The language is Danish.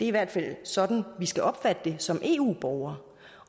i hvert fald sådan vi skal opfatte det som eu borgere